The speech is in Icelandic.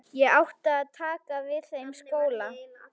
Ég átti að taka við þeim skóla.